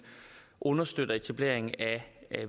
understøtter etableringen af